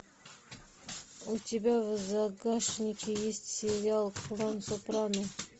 у тебя в загашнике есть сериал клан сопрано